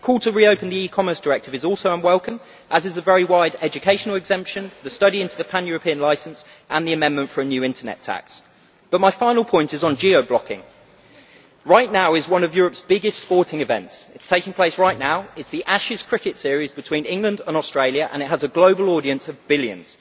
The call to reopen the E commerce Directive is also unwelcome, as is the very wide educational exemption, the study into the pan European licence and the amendment for a new internet tax. But my final point is on geo blocking. One of Europe's biggest sporting events is taking place right now it is the Ashes cricket series between England and Australia, and it has a global audience of billions.